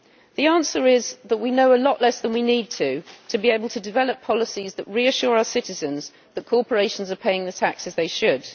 The answer is that we know a lot less than we need to in order to be able to develop policies that reassure our citizens that corporations are paying the taxes they should.